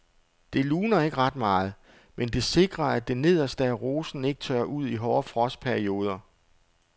Det luner ikke ret meget, men det sikrer at det nederste af rosen ikke tørrer ud i hårde frostperioder.